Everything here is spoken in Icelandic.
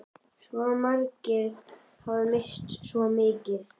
Svo margir hafa misst svo mikið.